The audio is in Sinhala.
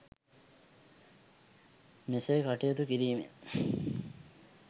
මෙසේ කටයුතු කිරීමෙන්